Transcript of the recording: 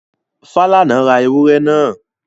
Falana ra ewúrẹ́ náà.